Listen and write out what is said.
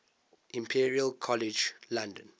imperial college london